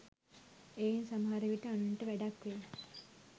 එයින් සමහර විට අනුන්ට වැඩක් වෙයි